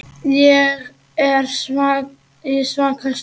Ég er í svaka stuði.